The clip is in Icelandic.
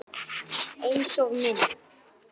Einsog minn.